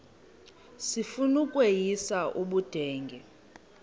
sifuna ukweyis ubudenge